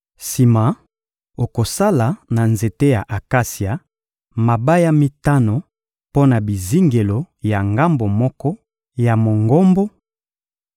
Sima, okosala, na nzete ya akasia, mabaya mitano mpo na bizingelo ya ngambo moko ya Mongombo,